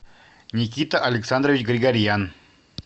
никита александрович григорьян